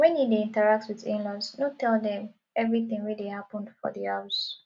when you dey interact with inlaws no tell dem everything wey dey happen for di house